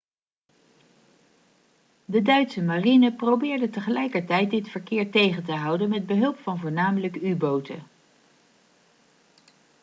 de duitse marine probeerde tegelijkertijd dit verkeer tegen te houden met behulp van voornamelijk u-boten